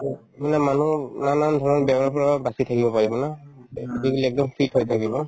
to মানে মানুহো নানান ধৰণৰ বেমাৰৰ পৰাও বাচি থাকিব পাৰিম ন physically একদম fit হৈ থাকিব